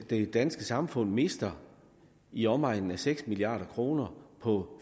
det danske samfund mister i omegnen af seks milliard kroner på